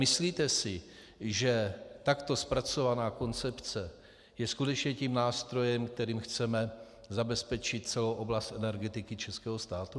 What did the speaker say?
Myslíte si, že takto zpracovaná koncepce je skutečně tím nástrojem, kterým chceme zabezpečit celou oblast energetiky českého státu?